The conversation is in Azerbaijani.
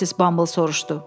Missis Bumble soruşdu.